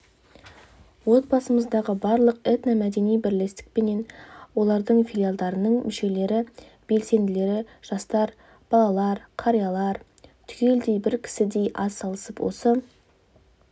облысымыздағы барлық этно-мәдени бірлестікпенен олардың филиалдарының мүшелері белсенділері жастар балалар қариялар түгелдей бір кісідей атсалысып осы